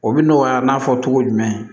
O bi nɔgɔya n'a fɔ cogo jumɛn